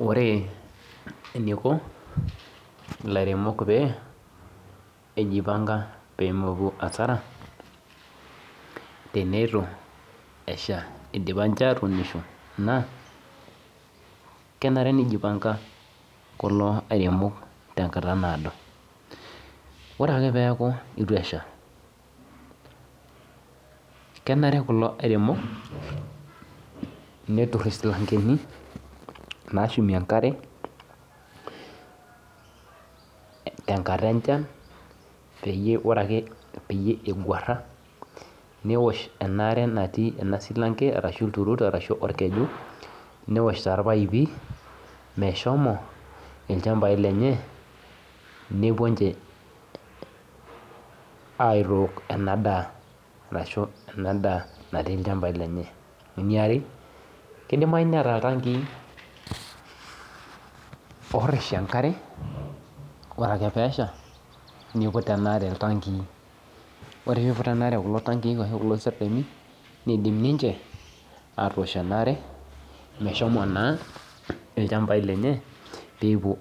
Ore eneiko ilairemok pee einipanga peemepuo asara teneitu esha eidipa ninche aatuniisho kenare neijipanga kulo airemok tenakta naado ore ake peeku eitu esha kenare kulo airemok netut isilankeni naashumie enkare tenkata enchan paa ore ake pee eguara newosh toorpaipi meshomo ilchambai lenye nepuo ninche aitook ena daa natii ilchambai lenye eneriare keidimayu neeta iltankii orish enkare ore ake peesha neiput enaare iltankii ore ake peesha neiput enaare kulo tankii newosh enaare meshomo naa ilchambai lenye peepuo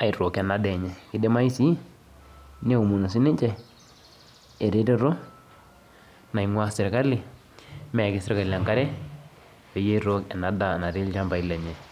aitook ena daa keidimayu sii neomonuneretoto tesrkali peitook ena daa enye